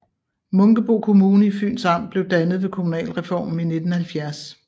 Munkebo Kommune i Fyns Amt blev dannet ved kommunalreformen i 1970